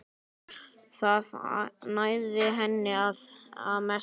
Það nægði henni að mestu.